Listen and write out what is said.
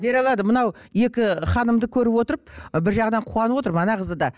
бере алады мынау екі ханымды көріп отырып бір жағынан қуанып отырмын ана қызды да